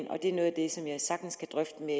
og det er noget af det som jeg sagtens kan drøfte med